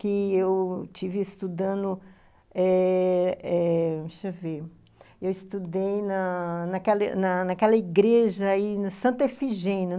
Que eu estive estudando eh eh... Deixa eu ver... Eu estudei naquela naquela naquela igreja aí, na Santa Efigênia.